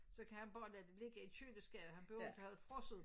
Så kan han bare lade det ligge i køleskabet han behøver ikke at have det frosset